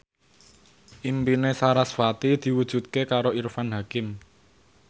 impine sarasvati diwujudke karo Irfan Hakim